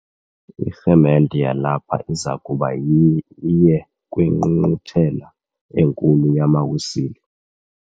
Irhemente yalapha iza kuba iye kwingqungquthela enkulu yamaWisile.